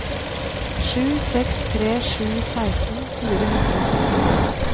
sju seks tre sju seksten fire hundre og syttito